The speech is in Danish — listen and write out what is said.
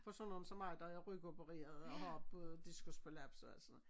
For sådan nogen som mig der er rygopereret og har både diskusprolaps og alt sådan noget